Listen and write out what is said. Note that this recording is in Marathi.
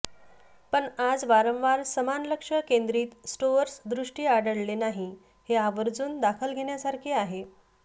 पण आज वारंवार समान लक्ष केंद्रित स्टोअर्स दृष्टी आढळले नाही हे आवर्जून दखल घेण्यासारखे आहे